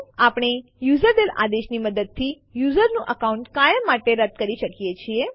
આપણે યુઝરડેલ આદેશ ની મદદ થી યુઝરનું અકાઉન્ટ કાયમ માટે રદ કરી શકીએ છીએ